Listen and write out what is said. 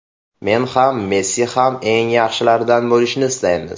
Men ham, Messi ham eng yaxshilardan bo‘lishni istaymiz.